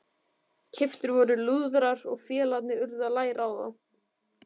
Keyptir voru lúðrar og félagarnir urðu að læra á þá.